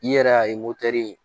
I yɛrɛ y'a ye